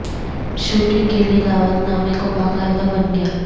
shooting کے لئے دعوت نامے کو باقاعدہ بن گیا